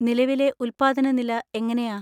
നിലവിലെ ഉദ്പാദന നില എങ്ങനെയാ?